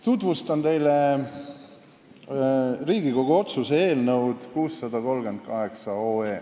Tutvustan teile Riigikogu otsuse eelnõu 638.